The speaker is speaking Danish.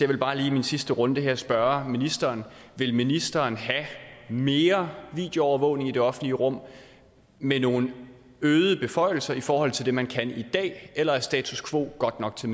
vil bare lige i min sidste runde her spørge ministeren vil ministeren have mere videoovervågning i det offentlige rum med nogle øgede beføjelser i forhold til det man kan i dag eller er status quo godt nok til